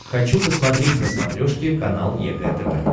хочу посмотреть на смотрешке канал егэ тв